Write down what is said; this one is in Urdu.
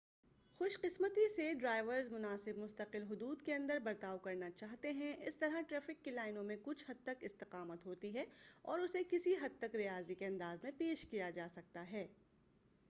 خوش قسمتی سے ڈرائیورز مناسب مستقل حدود کے اندر برتاؤ کرنا چاہتے ہیں اس طرح ٹریفک کی لائنوں میں کچھ حد تک استقامت ہوتی ہے اور اسے کسی حد تک ریاضی کے انداز میں پیش کیا جا سکتا ہے